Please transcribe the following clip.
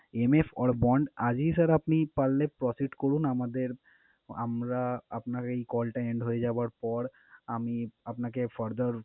MF or bond আজই sir আপনি পারলে procide করুন। আমাদের আমরা আপনাকে এই call টা end হয়ে যাবার পর আমি আপনাকে further